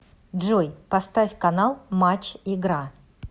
джой поставь канал матч игра